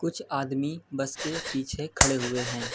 कुछ आदमी बस के पीछे खड़े हुए हैं।